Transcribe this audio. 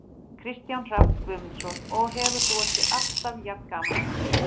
Kristján Hrafn Guðmundsson: Og hefur þú alltaf jafn gaman af þessu?